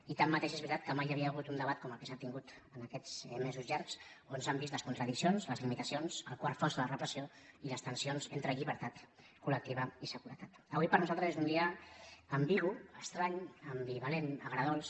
i tanmateix és veritat que mai hi havia hagut un debat com el que s’ha tingut en aquests mesos llargs on s’han vist les contradiccions les limitacions el quarto fosc de la repressió i les tensions entre llibertat colavui per nosaltres és un dia ambigu estrany ambivalent agredolç